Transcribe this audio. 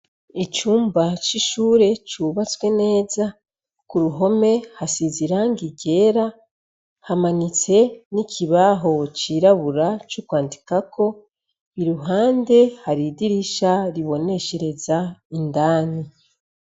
icumba c'ishure cubatswe neza ku ruhome hasiziranga ryera hamanitswe n'ikibaho cirabura co kwandikako iruhande hari idirisha riboneshereza indani